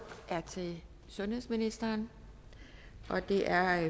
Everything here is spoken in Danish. er til sundhedsministeren og det er